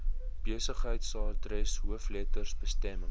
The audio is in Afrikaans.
besigheidsadres hoofletters bestemming